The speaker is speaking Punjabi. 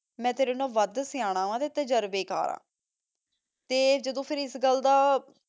ਮੈਂ ਤੇਰੇ ਨਾਲੋਂ ਵਧ ਸਿਯਾਨਾ ਵਾਂ ਤੇ ਤਜਰਬੇ ਕਰ ਆਂ ਤੇ ਜਦੋਂ ਫੇਰ ਏਸ ਗਲ ਦਾ